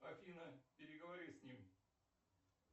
афина переговори с ним